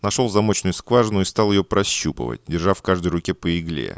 нашёл замочную скважину и стал её прощупывать держа в каждой руке по игле